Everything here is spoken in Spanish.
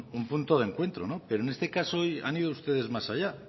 un punto de encuentro pero en este caso han ido ustedes más allá